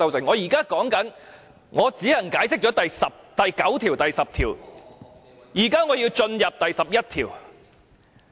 我現在是說我只能解釋第9條和第10條，現在我便要進入第11條。